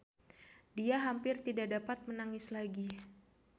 Dia hampir tidak dapat menangis lagi.